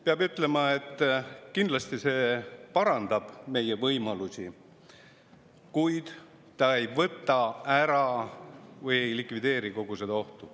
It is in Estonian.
Peab ütlema, et kindlasti parandab see meie võimalusi, kuid ta ei likvideeri kogu seda ohtu.